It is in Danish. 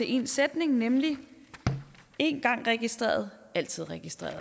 én sætning nemlig en gang registreret altid registreret